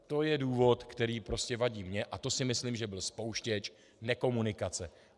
To je důvod, který prostě vadí mně, a to si myslím, že byl spouštěč nekomunikace.